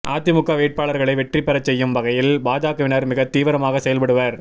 அதிமுக வேட்பாளர்களை வெற்றி பெறச் செய்யும் வகையில் பாஜகவினர் மிகத் தீவிரமாக செயல்படுவர்